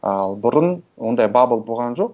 ал бұрын ондай бабл болған жоқ